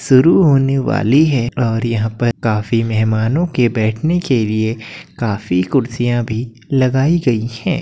शुरू होने वाली है और यहाँ पर काफी मेहमानों के बैठने के लिए काफी कुर्सियाँ भी लगाई गई हैं।